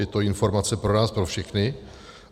Je to informace pro nás pro všechny.